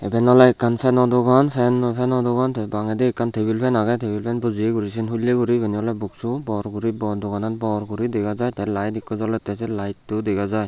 iben oley ekkan feno dogan fan fenno dogan tey bangedi ekkan tabel fan agey table fan bojeya guri seyan hulley guri ibeni oley boxcho bor guri doganan bor guri dega jaai tey lite ikko jolettey say laetto dega jai.